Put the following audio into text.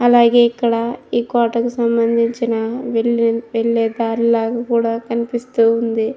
అలాగే ఇక్కడ ఈ కోటకి సంబంధించిన వెళ్ళే వెళ్ళే దారిలాగా కూడా కనిపిస్తూ ఉంది.